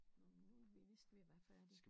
Nåh men nu er vi vist ved at være færdige